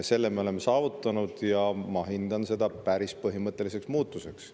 Selle me oleme saavutanud ja ma pean seda päris põhimõtteliseks muutuseks.